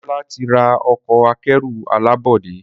Demola tí rà Ọkọ̀ akẹ́rù alábọ́dé.